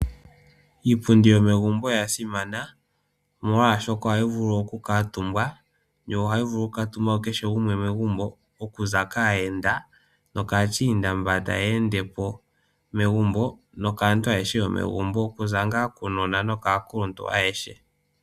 Iipundi yomegumbo oya simana, omolwaashoka ohayi vulu okukuutumbwa, yo ohayi vulu okutuumbwa kukehe gumwe megumbo okuza kaayenda, nokAachina mba taya ende po, uunona nosho wo aakuluntu.